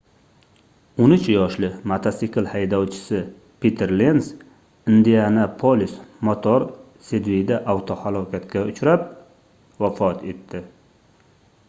13 yoshli mototsikl haydovchisi piter lens indianapolis motor sidveyda avtohalokatga uchrab vafot etdi